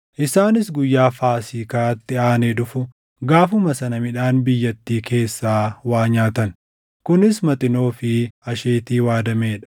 Isaanis guyyaa Faasiikaatti aanee dhufu, gaafuma sana midhaan biyyattii keessaa waa nyaatan; kunis Maxinoo fi asheetii waadamee dha.